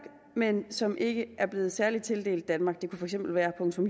men som ikke er blevet særlig tildelt danmark det kunne for eksempel være